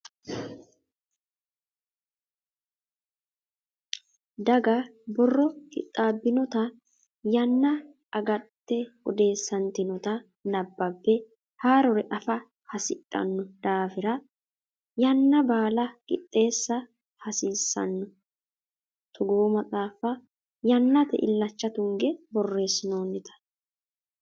Daga borro qixxabbinotta yanna agadite odeessatinotta nabbabe haarore affa hasidhano daafira yanna baala qixeessa hasiisano togo maxaafa yannate illacha tunge borreesinonnitta.